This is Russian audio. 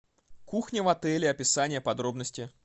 кухня в отеле описание подробности